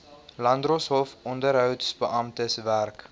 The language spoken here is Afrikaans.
landdroshof onderhoudsbeamptes werk